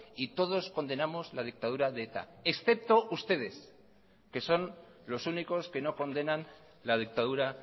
y todos condenamos la dictadura de eta excepto ustedes que son los únicos que no condenan la dictadura